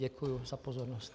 Děkuji za pozornost.